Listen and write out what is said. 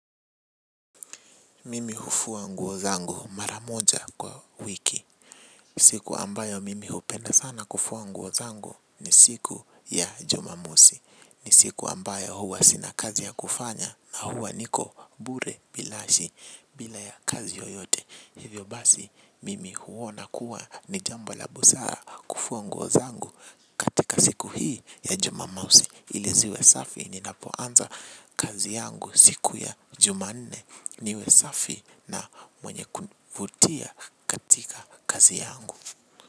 Mimi hufua nguo zangu mara moja kwa wiki. Siku ambayo mimi hupenda sana kufua nguo zangu ni siku ya Jumamosi. Ni siku ambayo huwa sina kazi ya kufanya, na huwa niko bure binafsi bila ya kazi yoyote. Hivyo basi, mimi huona kuwa ni jambo la busara kufua nguo zangu. Tika siku hii ya Jumamosi ili ziwe safi. Ninapoanza kazi yangu siku ya jumanne, niwe safi na mwenye kuvutia katika kazi yangu.